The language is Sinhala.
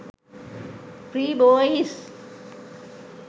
free boys